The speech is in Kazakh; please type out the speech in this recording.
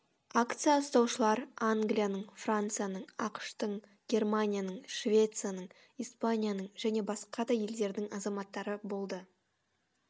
акция ұстаушылар англияның францияның ақш тың германияның швецияның испанияның және басқа да елдердің азаматтары болды